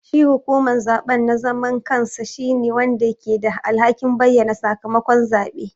Shi hukuman zaɓe na zaman kansa shine wanda ke da alhakin bayyana sakamakon zabe.